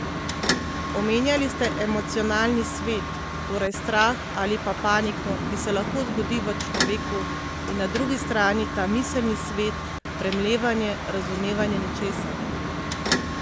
Omenjali ste emocionalni svet, torej strah ali pa paniko, ki se lahko zgodi v človeku, in na drugi strani ta miselni svet, premlevanje, razumevanje nečesa.